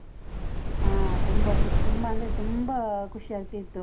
ಹಾ ತುಂಬ, ತುಂಬ ಅಂದ್ರೆ ತುಂಬ ಖುಷಿ ಆಗ್ತಿತ್ತು.